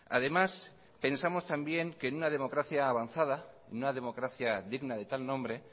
además pensamos también que en una democracia avanzada en una democracia digna de tal nombre